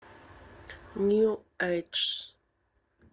нью эйдж